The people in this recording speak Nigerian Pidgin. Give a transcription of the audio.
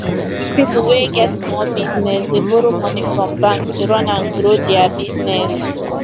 people wey get small business dey borrow money from bank to run and grow their business